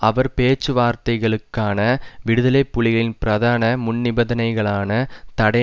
அவர் பேச்சுவார்த்தைகளுக்கான விடுதலை புலிகளின் பிரதான முன்நிபந்தனைகளான தடை